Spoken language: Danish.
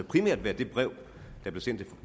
primært været det brev der blev sendt